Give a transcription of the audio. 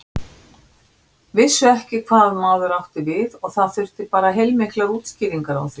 Vissu ekki hvað maður átti við og það þurfti bara heilmiklar útskýringar á því.